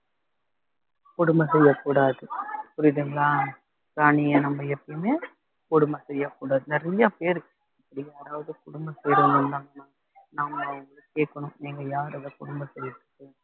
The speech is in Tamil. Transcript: கொடும செய்யக் கூடாது புரியுதுங்களா பிராணியை நம்ம எப்பையுமே கொடுமை செய்யக் கூடாது நிறையா பேரு யாராவது குடும்பத்திலே இருந்தாங்கன்னா நாம அவங்கள கேக்கணும் நீங்க யாரு அத கொடும செய்யறதுக்கு